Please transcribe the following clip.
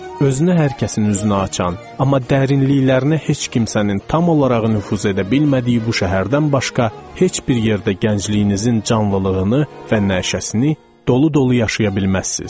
Özünü hər kəsin üzünə açan, amma dərinliklərinə heç kimsənin tam olaraq nüfuz edə bilmədiyi bu şəhərdən başqa heç bir yerdə gəncliyinizin canlılığını və nəşəsini dolu-dolu yaşaya bilməzsiz.